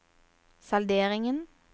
salderingen